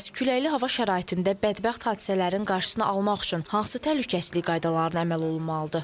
Bəs küləkli hava şəraitində bədbəxt hadisələrin qarşısını almaq üçün hansı təhlükəsizlik qaydalarına əməl olunmalıdır?